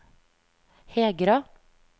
Hegra